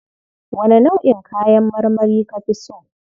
Wane nau'in kayan marmari ka fi so?